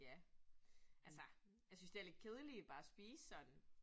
Ja. Altså jeg synes, de er lidt kedelige bare at spise sådan